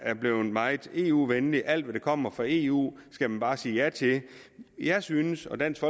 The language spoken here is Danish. er blevet meget eu venlige alt hvad der kommer fra eu skal man bare sige ja til jeg synes og dansk